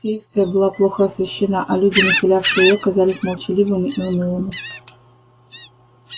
алексеевская была плохо освещена а люди населявшие её казались молчаливыми и унылыми